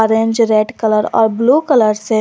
bench red colour और blue colour से--